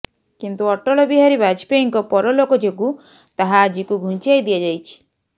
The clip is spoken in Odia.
କିନ୍ତୁ ଅଟଳ ବିହାରୀ ବାଜପେୟୀଙ୍କ ପରଲୋକ ଯୋଗୁ ତାହା ଆଜିକୁ ଘୁଞ୍ଚାଇ ଦିଆଯାଇଛି